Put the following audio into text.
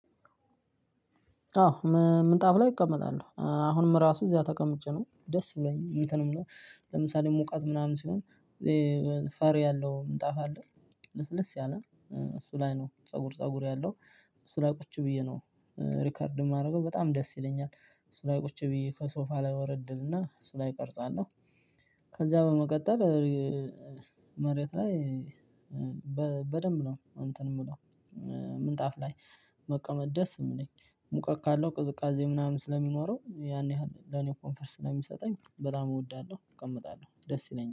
አዎ ምንጣፍ ላይ እቀመጣለሁ አሁንም ራሱ እዚያ ተቀምጬ ነው ደስ ብሎኝ እንትን ምለው ለምሳሌ ሙቃት ምናምን ሲሆን ፈር ያለው ምንጣፍ አለ። ልስልስ ያለ እሱ ላይ ነው ፀጉር ፀጉር ያለው። እሱ ላይ ቁጭ ብዬ ነው። ሪከርድ የማደርገው በጣም ደስ ይለኛል እሱ ላይ ቁጭ ብዬ ከሶፋ ላይ ወረድልና እሱ ላይ እቀርጻለሁ። ከዛ በመቀጠል መሬት ላይ በደንብ ነው እንትን የምለው ምንጣፍ ላይ መቀመጥ ደስ የሚለኝ ሙቀት ካለው ቅዝቃዜ ምናምን ስለሚኖረው ያን ያህል ለኔ ኮንፈርት ስለሚሰጠኝ በጣም እወዳለሁ እቀመጣለሁ። ደስ ይለኛል።